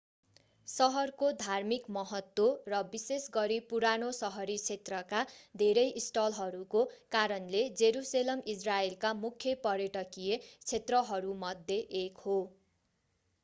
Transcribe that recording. सहरको धार्मिक महत्त्व र विशेष गरी पुरानो सहरी क्षेत्रका धेरै स्थलहरूको कारणले जेरुसेलम इजरायलका मुख्य पर्यटकीय क्षेत्रहरूमध्ये एक हो